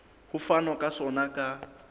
ho fanwa ka sona ka